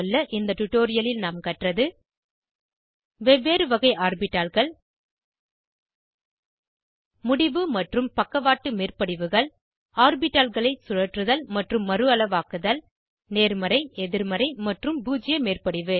இந்த டுடோரியலில் நாம் கற்றது வெவ்வேறு வகை ஆர்பிட்டால்கள் முடிவு மற்றும் பக்கவாட்டு மேற்படிவுகள் ஆர்பிட்டால்களை சுழற்றுதல் மற்றும் மறுஅளவாக்குதல் நேர்மறை எதிர்மறை மற்றும் பூஜ்ஜிய மேற்படிவு